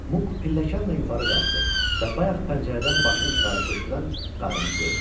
Muk pilləkanla yuxarı qalxdı və bayaq pəncərədən başını çıxarıb qışqıran qarıını gördü.